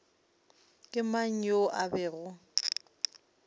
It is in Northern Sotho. ke mang yoo a bego